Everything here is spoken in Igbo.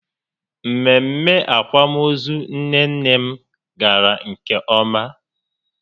Mmemme akwamozu nne nne m gara nke ọma